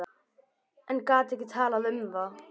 En gat ekki talað um það.